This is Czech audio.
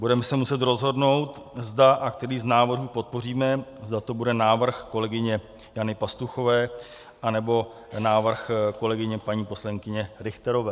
Budeme se muset rozhodnout, zda a který z návrhů podpoříme, zda to bude návrh kolegyně Jany Pastuchové, anebo návrh kolegyně paní poslankyně Richterové.